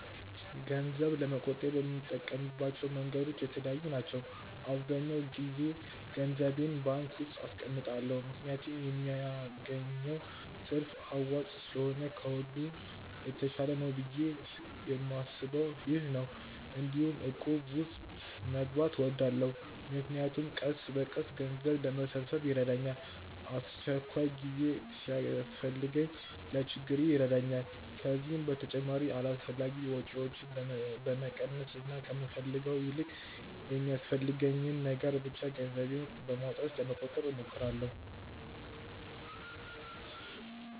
ገንዘብ ለመቆጠብ የምጠቀምባቸው መንገዶች የተለያዩ ናቸው። አብዛኛው ጊዜ ገንዘቤን ባንክ ውስጥ አስቀምጣለሁ ምክንያቱም የሚያገኘው ትርፍ አዋጪ ስለሆነ ከሁሉም የተሻለ ነው ብዬ የማስበውም ይህ ነው። እንዲሁም እቁብ ውስጥ መግባት እወዳለሁ፣ ምክንያቱም ቀስ በቀስ ገንዘብ ለመሰብሰብ ይረዳል፤ አስቸኳይ ጊዜ ሲያስፈልግም ለችግሬ ጊዜ ይረዳኛል። ከዚህ በተጨማሪ አላስፈላጊ ወጪዎችን በመቀነስ እና ከምፈልገው ይልቅ የሚያስፈልገኝን ነገር ብቻ ገንዘቤን በማውጣት ለመቆጠብ እሞክራለሁ።